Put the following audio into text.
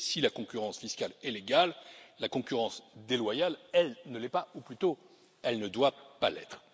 Et si la concurrence fiscale est légale, la concurrence déloyale, elle, ne l'est pas, ou plutôt elle ne doit pas l'être.